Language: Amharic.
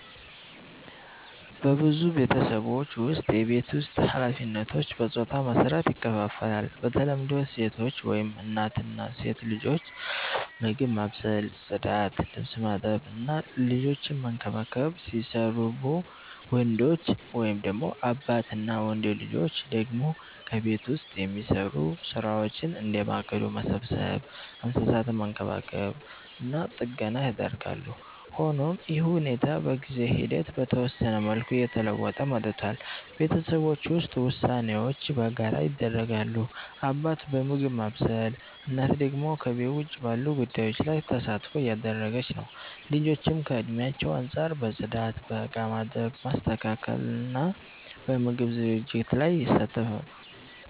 በብዙ ቤተሰቦች ውስጥ የቤት ውስጥ ኃላፊነቶች በጾታ መሰረት ይከፋፈላሉ። በተለምዶ ሴቶች (እናት እና ሴት ልጆች) ምግብ ማብሰል፣ ጽዳት፣ ልብስ ማጠብ እና ልጆችን መንከባከብ ሲሰሩቡ፣ ወንዶች (አባት እና ወንድ ልጆች) ደግሞ ከቤት ውጭ የሚሰሩ ሥራዎችን፣ እንደ ማገዶ መሰብሰብ፣ እንስሳትን መንከባከብ እና ጥገና ያደርጋሉ። ሆኖም ይህ ሁኔታ በጊዜ ሂደት በተወሰነ መልኩ እየተለወጠ መጥቷል። ቤተሰቦች ውስጥ ውሳኔዎች በጋራ ይደረጋሉ፤ አባት በምግብ ማብሰል፣ እናት ደግሞ ከቤት ውጭ ባሉ ጉዳዮች ላይ ተሳትፎ እያደረገች ነው። ልጆችም ከእድሜያቸው አንጻር በጽዳት፣ በእቃ ማጠብ፣ ማስተካከል እና በምግብ ዝግጅት ላይ ይሳተፋሉ።